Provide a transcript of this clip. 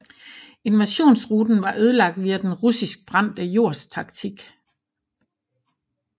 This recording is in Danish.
Invasionsruten var ødelagt via den russiske brændte jords taktik